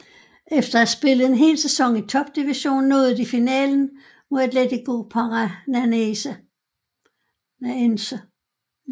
Efter at have spillet en hel sæson i topdivisionen nåede de finalen mod Atlético Paranaense